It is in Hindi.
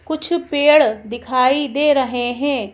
कुछ पेड़ दिखाई दे रहे हैं।